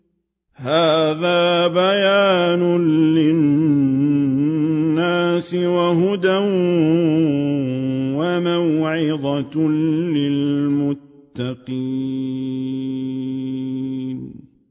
هَٰذَا بَيَانٌ لِّلنَّاسِ وَهُدًى وَمَوْعِظَةٌ لِّلْمُتَّقِينَ